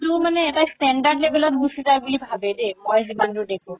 মানে এটা standard ত level ত গুচি যাই বুলি মই ভাবে দেই মই যিমান দুৰ দেখো